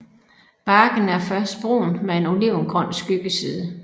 Barken er først brun med en olivengrøn skyggeside